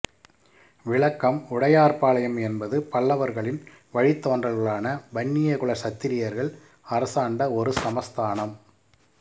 விளக்கம் உடையார்பாளையம் என்பது பல்லவர்களின் வழித்தோன்றல்களான வன்னியகுல சத்திரியர்கள் அரசாண்ட ஒரு சமஸ்தானம்